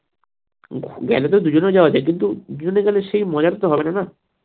গেলেতো দুজনেও যাওয়া যায় কিন্তু দুজনে গেলে সেই মজাটা তো হবেনা না